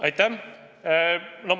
Aitäh!